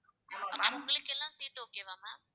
ஆஹ் உங்களுக்கு எல்லாம் seat okay வா ma'am